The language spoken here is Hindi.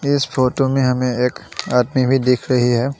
इस फोटो में हमें एक आदमी भी दिख रही है।